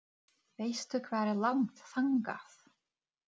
Turninn er fimmtíu metra hár.